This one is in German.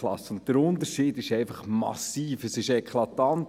Der Unterschied ist massiv, es ist eklatant.